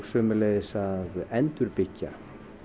sömuleiðis að endurbyggja